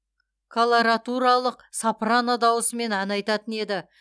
колоратуралық сопрано дауысымен ән айтатын еді